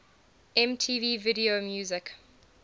mtv video music